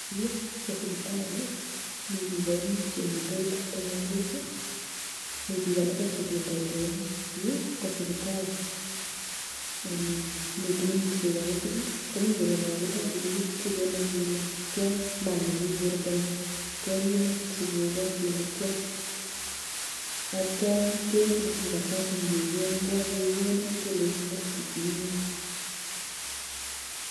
Yu ko sipitsli mi biik aengu chemite kotomngonydos [ii] mi biik alake chependoti aengu yu kosipitali [mmmh] mi tugun chekakisir [ii] komi korot nekaki tachi eut [ii] sikenai kele tia maat nemi bortongung kebiman sikenai kele tia. Atyam kesirun mi kartasit nekekonin, kokagekonin kelenjin next inyoo